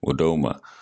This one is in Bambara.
O daw ma